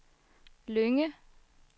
Lynge